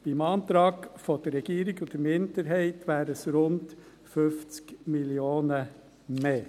Beim Antrag der Regierung und der Minderheit wären es rund 50 Mio. Franken mehr.